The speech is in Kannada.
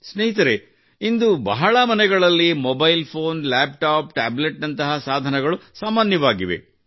ಸ್ನೇಹಿತರೇ ಇಂದು ಪ್ರತಿ ಮನೆಯಲ್ಲೂ mobile phone laptop tablet ನಂತಹ ಸಾಧನಗಳು ಸಾಮಾನ್ಯವಾಗಿವೆ